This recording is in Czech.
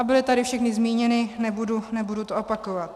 A byly tady všechny zmíněny, nebudu to opakovat.